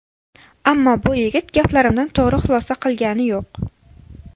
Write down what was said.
Ammo bu yigit gaplarimdan to‘g‘ri xulosa qilgani yo‘q.